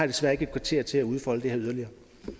desværre ikke et kvarter til udfolde det her yderligere